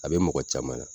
A bɛ mɔgɔ caman na